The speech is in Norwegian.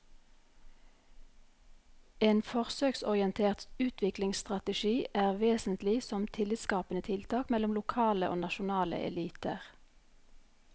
En forsøksorientert utviklingsstrategi er vesentlig som tillitsskapende tiltak mellom lokale og nasjonale eliter.